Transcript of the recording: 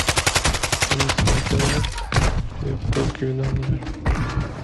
алиса закажи две бутылки вина в номер